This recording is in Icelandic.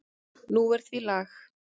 Nú er því lag.